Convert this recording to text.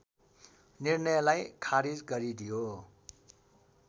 निर्णयलाई खारिज गरिदियो